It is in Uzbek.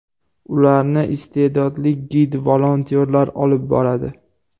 Ularni iste’dodli gid-volontyorlar olib boradi.